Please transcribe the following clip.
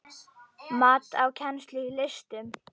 Mat á kennslu í listum